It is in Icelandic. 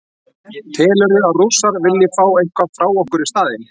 Telurðu að Rússar vilji fá eitthvað frá okkur í staðinn?